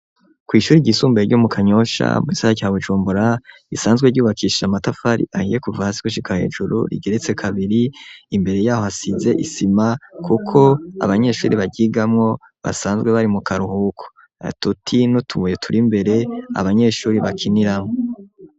Kwishuri ry'isumbaye ryo mu kanyosha mu kisagara ca Bujumbura isanzwe ryubakishije matafari ahiye kuva hasi gushika hejuru. rigeretse kabiri imbere yaho hasize isima kuko abanyeshuri baryigamo basanzwe bari mu karuhuko. Ututi nutubuye turi mbere abanyeshuri bakiniramo.